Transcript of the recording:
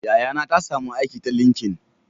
Yayana ta samu aiki ta linkin